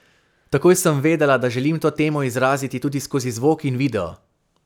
Takoj sem vedela, da želim to temo izraziti tudi skozi zvok in video.